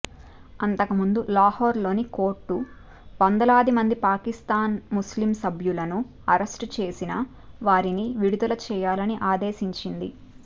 అంతకుముందు లాహోర్లోని కోర్టు వందలాదిమంది పాకిస్తాన్ముస్లింలీగ్సభ్యులను అరెస్టుచేసిన వారిని విడుదలచేయాలని ఆదేశించింది